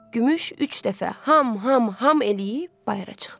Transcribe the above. Gümüş üç dəfə ham, ham, ham eləyib bayıra çıxdı.